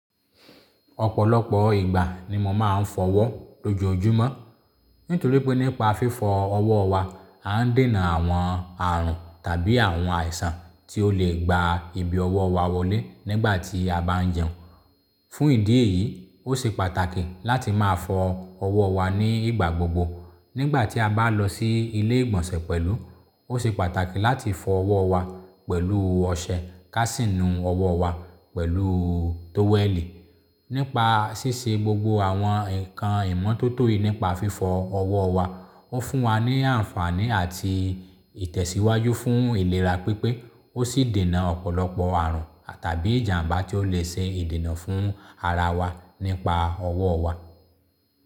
Ọ̀pọ̀lọpọ̀ ìgbà ni mo máa ń fọ ọwọ́ lójoojúmọ́. Nítorí pé nípa fífọ ọwọ́ wa, a ń dènà àwọn àrùn tàbí àwọn àìsàn tí ó lè gba ibi ọwọ́ wa wọlé nígbà tí a bá ń jẹun. Fún ìdí èyí, ó ṣe pàtàkì láti máa fọ ọwọ́ wa ní ìgbà gbogbo. Nígbà tí a bá lọ sí ilé ìgbọ̀nsẹ̀ pẹ̀lú, ó ṣe pàtàkì láti fọ ọwọ́ wa pẹ̀lú ọṣẹ, káàsìnù ọwọ́ wa pẹ̀lú tówẹ́lì. Nípa ṣíṣe gbogbo àwọn ǹkan ìmọ́tótó yìí nípa fífọ ọwọ́ wa, ó fún wa ní àǹfààní àti ìtẹ̀síwájú fún ìlera pípé, ó sì dènà ọ̀pọ̀lọpọ̀ àrùn tàbí ìjàmbá tí ó lè ṣe ìdènà fún ara wa nípa ọwọ́ wa.